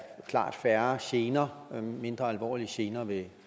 klart færre gener mindre alvorlige gener ved